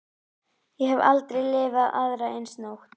Ég hafði aldrei lifað aðra eins nótt.